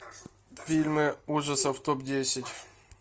фильмы ужасов топ десять